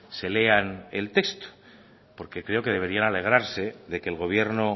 se lean el texto porque creo que deberían alegrarse de que el gobierno